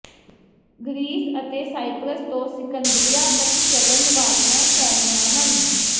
Greece ਅਤੇ Cyprus ਤੋਂ ਸਿਕੰਦਰੀਆ ਤੱਕ ਚੱਲਣ ਵਾਲੀਆਂ ਫੈਰੀਆਂ ਹਨ